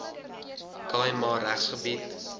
khai ma regsgebied